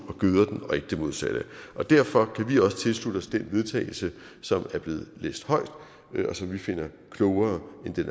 og gøder den og ikke det modsatte og derfor kan vi også tilslutte os den vedtagelse som er blevet læst højt og som vi finder klogere end den